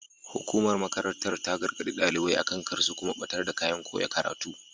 Hukumar makarantar ta gargaɗi ɗalibai akan kar su kuma ɓatar da kayan koya karatu.